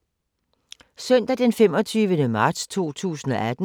Søndag d. 25. marts 2018